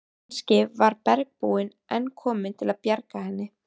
Kannski var bergbúinn enn kominn til að bjarga henni.